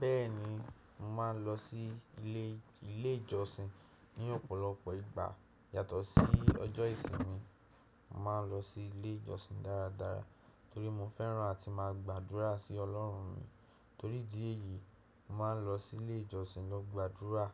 Bẹ́ẹ̀ni, mo máa ń lọ sí ilé, ilé ìjọsìn ní ọ̀pọ̀lọpọ̀ ìgbà. Yàtọ̀ sí ọjọ́ ìsinmi, mo máa ń lọ sí ilé ìjọsìn dáradára torí mo fẹ́ràn àti máa gbàdúrà sí Ọlọ́run mi. Torí ìdí èyí, mo máa ń lọ sí ilé ìjọsìn lọ gbàdúrà